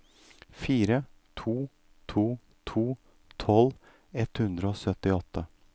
fire to to to tolv ett hundre og syttiåtte